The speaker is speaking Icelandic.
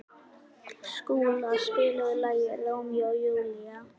Skúla, spilaðu lagið „Rómeó og Júlía“.